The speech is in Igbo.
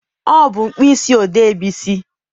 Ọ bụ mkpịsị odee Bisi.